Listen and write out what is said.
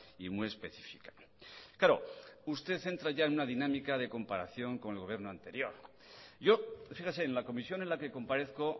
y muy específica claro usted entra ya en una dinámica de comparación con el gobierno anterior yo fíjese en la comisión en la que comparezco